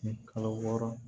Ni kalo wɔɔrɔ